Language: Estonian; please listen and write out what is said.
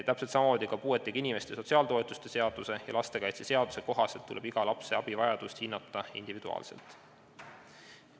Täpselt samamoodi tuleb puuetega inimeste sotsiaaltoetuste seaduse ja lastekaitseseaduse kohaselt hinnata iga lapse abivajadust individuaalselt.